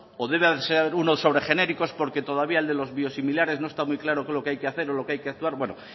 o debe de ser uno sobre genéricos porque todavía el de los biosimilares no está muy claro qué es lo que hay que hacer o lo que hay que actuar bueno